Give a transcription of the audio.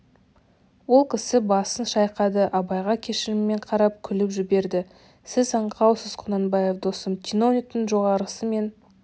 ол кісі басын шайқады абайға кешіріммен қарап күліп жіберді сіз аңқаусыз құнанбаев досым чиновниктің жоғарғысы мен